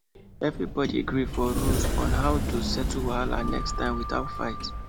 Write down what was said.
everybody gree for rules on how to settle wahala next time without fight